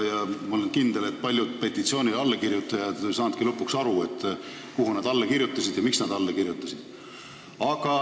Ma olen kindel, et paljud petitsioonile allakirjutanud ei saanudki lõpuni aru, millele nad alla kirjutasid ja miks nad alla kirjutasid.